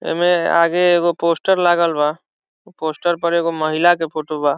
एमे आगे एगो पोस्टर लागल बा पोस्टर पर एकगो महिला के फोटो बा।